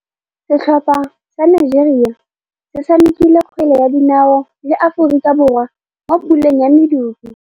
Setlhopha sa Nigeria se tshamekile kgwele ya dinaô le Aforika Borwa mo puleng ya medupe.